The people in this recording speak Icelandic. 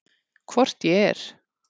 Hvort ég er.